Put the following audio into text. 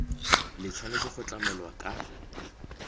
le tshwanetse go tlamelwa ka